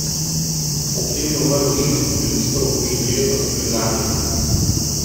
Ob tem je umrlo šest civilistov, še trije pa so bili ranjeni.